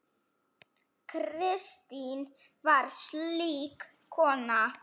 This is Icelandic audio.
Kristín var slík kona.